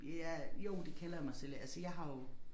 Ja jo det kalder jeg mig selv altså jeg har jo